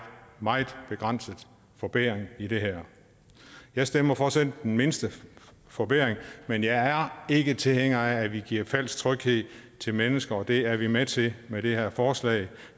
meget begrænset forbedring i det her jeg stemmer for selv den mindste forbedring men jeg er ikke tilhænger af at vi giver falsk tryghed til mennesker og det er vi med til med det her forslag